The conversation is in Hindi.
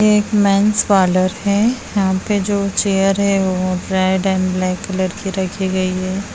एक मेंस पार्लर है यहां पे जो चेयर है वो रेड एंड ब्लैक कलर की रखी गई है।